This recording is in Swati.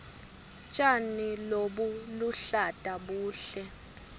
tjani lobuluhlata buhle